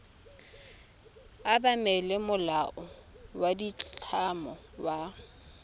obamela molao wa ditlamo wa